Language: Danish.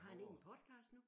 Har han ikke en podcast nu?